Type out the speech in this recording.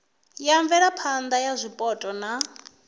ya mvelaphana ya zwipotso na